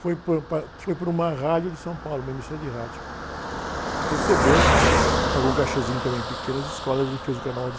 Foi por, para, foi para uma rádio de São Paulo, uma emissora de rádio, que recebeu, pagou um cachêzinho também pequeno às escolas e fez o carnaval de